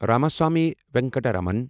Ramaswamy Venkataraman